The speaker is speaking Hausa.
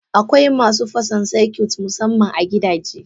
Akwai masu fasa circuit Musaman a gidaje.